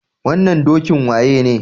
Wannan dokin waye ne?